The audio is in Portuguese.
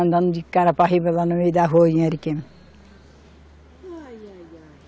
Andando de cara para riba lá no meio da rua em Ariquemes. Ai, ai, ai